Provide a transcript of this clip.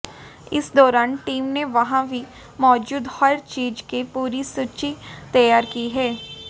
इस दौरान टीम ने वहां भी मौजूद हर चीज की पूरी सूची तैयार की है